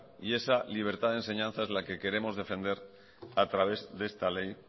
y esa libertad de enseñanza es la que queremos defender a través de esta ley